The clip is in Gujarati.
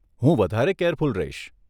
હું વધારે કેરફૂલ રહીશ.